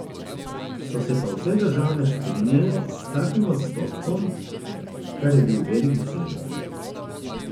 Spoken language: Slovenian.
So se pa vse države strinjale s takim odstotkom, kar je bil velik dosežek.